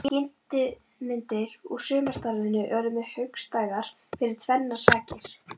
Þessar skyndimyndir úr sumarstarfinu urðu mér hugstæðar fyrir tvennar sakir.